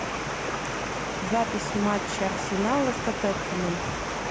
запись матча арсенала с тоттенхэмом